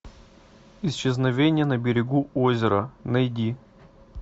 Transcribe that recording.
исчезновение на берегу озера найди